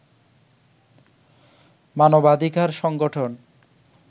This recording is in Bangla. মানবাধিকার সংগঠন